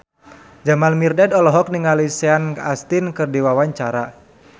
Jamal Mirdad olohok ningali Sean Astin keur diwawancara